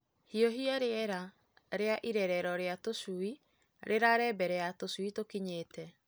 Hiũhia rĩera rĩa irerero rĩa tũcui rĩrare mbere ya tũcui tũkinyĩte.